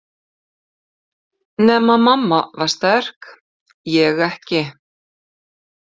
Nema mamma var sterk, ég ekki.